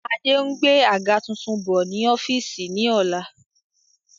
Adé ń gbé àga tuntun bọ̀ ni ọ́fíìsì ni ọ̀la